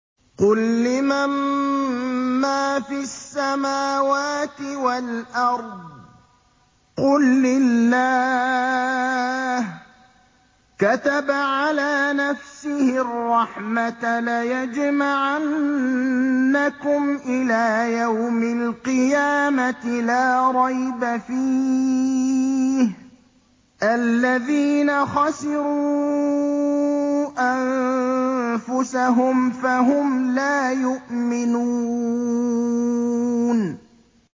قُل لِّمَن مَّا فِي السَّمَاوَاتِ وَالْأَرْضِ ۖ قُل لِّلَّهِ ۚ كَتَبَ عَلَىٰ نَفْسِهِ الرَّحْمَةَ ۚ لَيَجْمَعَنَّكُمْ إِلَىٰ يَوْمِ الْقِيَامَةِ لَا رَيْبَ فِيهِ ۚ الَّذِينَ خَسِرُوا أَنفُسَهُمْ فَهُمْ لَا يُؤْمِنُونَ